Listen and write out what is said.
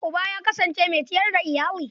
Uba ya kasance mai ciyar da iyali.